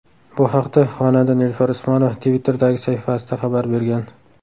Bu haqda xonanda Nilufar Usmonova Twitter’dagi sahifasida xabar bergan .